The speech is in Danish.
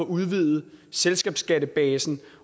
udvidet selskabsskattebasen